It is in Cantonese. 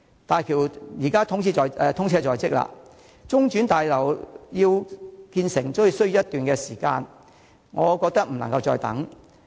大橋通車在即，中轉客運大樓建成也需要一段時間，我認為已不能再等待。